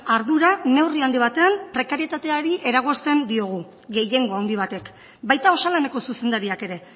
ardura neurri handi batean prekarietateari eragozten diogu gehiengo handi batek baita osalaneko zuzendariak ere